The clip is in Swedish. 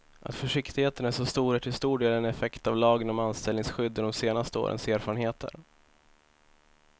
Att försiktigheten är så stor är till stor del en effekt av lagen om anställningsskydd och de senaste årens erfarenheter.